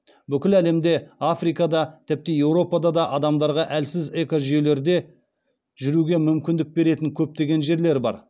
бүкіл әлемде африкада тіпті еуропада адамдарға әлсіз экожүйелерде жүруге мүмкіндік беретін көптеген жерлер бар